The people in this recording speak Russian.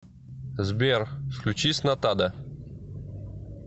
сбер включи снатада